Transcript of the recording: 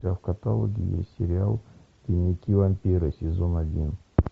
у тебя в каталоге есть сериал дневники вампира сезон один